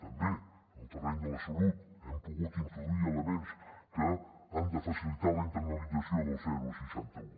també en el terreny de la salut hem pogut introduir elements que han de facilitar la internalització del seixanta un